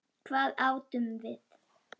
Hvað átum við?